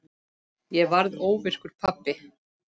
Ég varð óvirkur pabbi.